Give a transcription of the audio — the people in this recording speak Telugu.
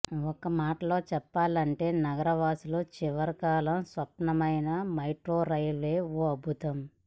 ఒక్క మాటలో చెప్పాలంటే నగరవాసుల చిరకాల స్వప్నమైన మెట్రో రైల్వే ఓ అద్భుతం